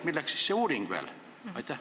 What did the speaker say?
Milleks siis see uuring veel?